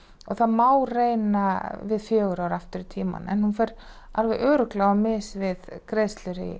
og það má reyna við fjögur ár aftur í tímann en hún fer alveg örugglega á mis við greiðslur í